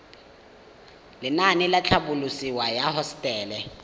lenaane la tlhabololosewa ya hosetele